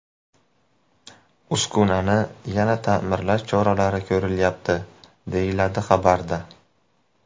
Uskunani yana ta’mirlash choralari ko‘rilyapti”, deyiladi xabarda.